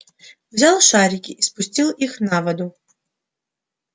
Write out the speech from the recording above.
взял шарики и спустил их на воду